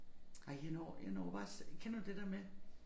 Ej jeg når jeg når bare kender du det der med